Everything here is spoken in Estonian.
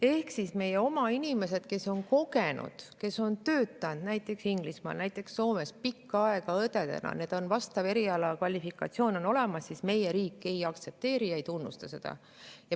Ehk kui meie oma inimesed on, nad on töötanud näiteks Inglismaal või Soomes pikka aega õdedena, neil on kvalifikatsioon olemas, meie riik ei aktsepteeri ja ei tunnusta.